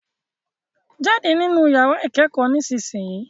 Jáde nínu yàrá ìkẹ́kọ̀ọ́ nísìsiyìí.